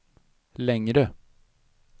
längre